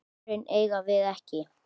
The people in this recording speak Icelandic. Svörin eigum við ekki.